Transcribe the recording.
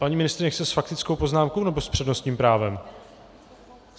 Paní ministryně chce s faktickou poznámkou, nebo s přednostním právem?